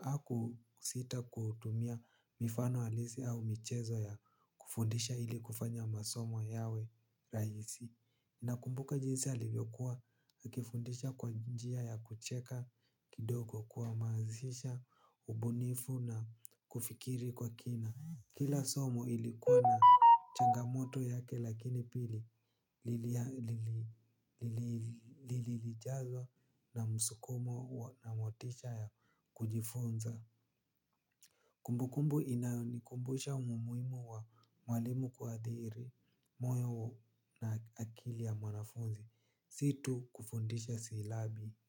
hakusita kutumia mifano halisi au michezo ya kufundisha ili kufanya masomo yawe rahisi. Nakumbuka jinsi alivyokuwa akifundisha kwa njia ya kucheka kidogo kuhamazisha, ubunifu na kufikiri kwa kina. Kila somo ilikuwa na changamoto yake lakini pili lilijazwa na msukumo na motisha ya kujifunza. Kumbukumbu inayonikumbusha umuhimu wa mwalimu kuathiri moyo na akili ya mwanafunzi. Si tu kufundisha silabi.